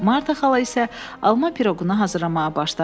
Marta xala isə alma piroqunu hazırlamağa başladı.